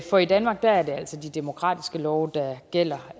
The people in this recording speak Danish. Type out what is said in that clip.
for i danmark er det altså de demokratiske love der gælder